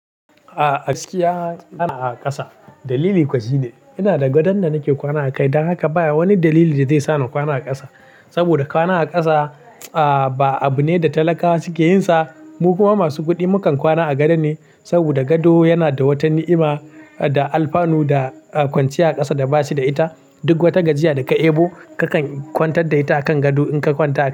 Ah, gaskiya na na a ƙasa. Dalili kwa shi ne. Ina da gadon da nake kwana a kai, don haka ba wani dalili da zai sa na kwana a ƙasa. Saboda kwana a ƙasa, ah, ba abu ne da talakawa suke yin sa. Mu kuma masu kuɗi mukan kwana a gado ne, saboda gado yana da wata ni'ima da alfanu da kwanciya a ƙasa da bashi da ita. Duk wata gajiya da ka yi ebo kakan kwantar da ita a kan gado in ka kwanta a kai.